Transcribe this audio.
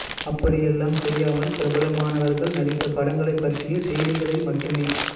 அப்படியெல்லாம் செய்யாமல் பிரபலமானவர்கள் நடித்த படங்களைப் பற்றியச் செய்திகளை மட்டுமே